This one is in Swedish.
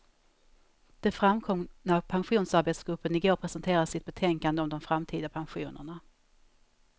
Det framkom när pensionsarbetsgruppen igår presenterade sitt betänkande om de framtida pensionerna.